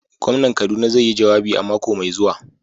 Gwamnan kaduna zai yi jawabi a mako mai zuwa.